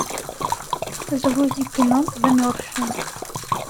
загрузи кино замерзшие